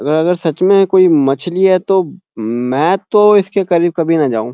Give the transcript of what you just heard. अगर-अगर सच में ये कोई मछली है तो म-मैं तो इसके करीब कभी न जाऊ।